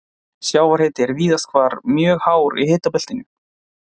Sjávarhiti er víðast hvar mjög hár í hitabeltinu.